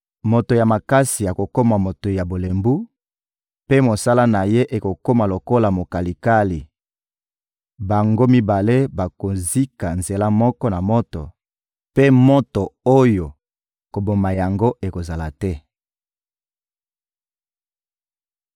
Moto ya makasi akokoma moto ya bolembu, mpe mosala na ye ekokoma lokola mokalikali; bango mibale bakozika nzela moko na moto, mpe moto oyo koboma yango akozala te.»